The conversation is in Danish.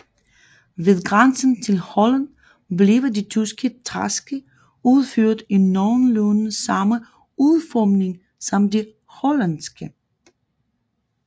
Ved grænsen til Holland bliver de tyske træske udført i nogenlunde samme udformning som de hollandske